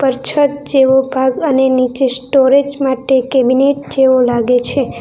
ઉપર છત જેવું ભાગ અને નીચે સ્ટોરેજ માટે કેબિનેટ જેવો લાગે છે.